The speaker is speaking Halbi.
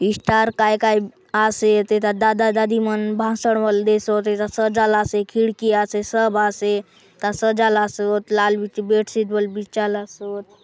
स्टार काय - काय आसे एथा दादा दादी मन भाषण बले देसोत एथा सजालासे खिड़की आसे सब आसे एथा सजालोसोत लाल बीती बेडशीट बले बिछाला सोत।